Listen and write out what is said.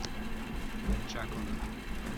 чакона